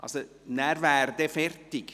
Nachher wäre dann fertig.